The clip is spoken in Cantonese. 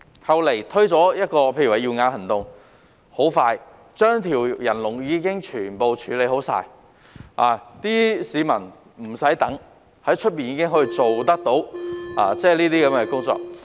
後來"耀眼行動"推出，不久便把人龍全部處理好，市民無須等待，在外面已可做到有關手術。